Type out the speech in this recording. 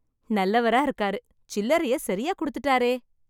நல்லவரா இருக்காரு, சில்லறைய சரியா குடுத்துட்டாரே.